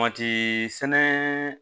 Mati sɛnɛ